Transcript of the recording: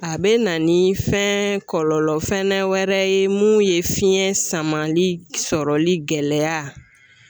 A be na ni fɛn kɔlɔlɔ fɛnɛ wɛrɛ ye mun ye fiɲɛ samali sɔrɔli gɛlɛya